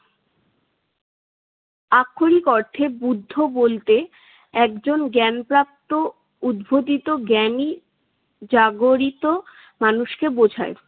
আক্ষরিক অর্থে বুদ্ধ বলতে একজন জ্ঞানপ্রাপ্ত উদ্বোধিত জ্ঞানী জাগরিত মানুষকে বোঝায়।